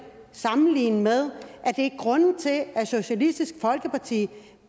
sammenligne med for er grunden til at socialistisk folkeparti